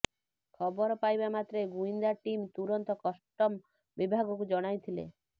ଖବର ପାଇବାମାତ୍ରେ ଗୁଇନ୍ଦା ଟିମ୍ ତୁରନ୍ତ କଷ୍ଟମ ବିଭାଗକୁ ଜଣାଇଥିଲା